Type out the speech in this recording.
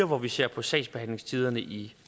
hvor vi ser på sagsbehandlingstiderne i